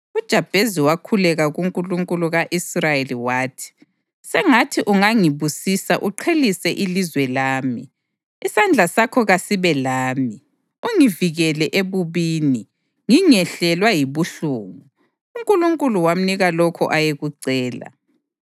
UJabhezi wakhuleka kuNkulunkulu ka-Israyeli wathi: “Sengathi ungangibusisa uqhelise ilizwe lami! Isandla sakho kasibe lami, ungivikele ebubini, ngingehlelwa yibuhlungu.” UNkulunkulu wamnika lokho ayekucela.